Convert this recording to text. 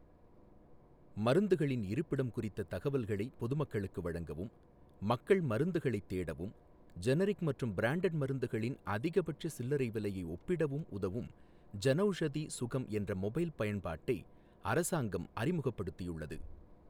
மருந்தகங்களின் இருப்பிடம் குறித்த தகவல்களை பொதுமக்களுக்கு வழங்கவும், மக்கள் மருந்துகளைத் தேடவும், ஜெனரிக் மற்றும் பிராண்டட் மருந்துகளின் அதிகபட்ச சில்லறை விலையை ஒப்பிடவும் உதவும் ஜனௌஷதி சுகம் என்ற மொபைல் பயன்பாட்டை அரசாங்கம் அறிமுகப்படுத்தியுள்ளது.